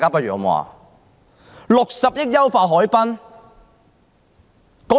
用60億元優化海濱？